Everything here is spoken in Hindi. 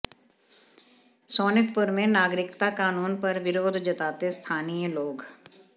सोनितपुर में नागरिकता कानून पर विरोध जताते स्थानीय लोग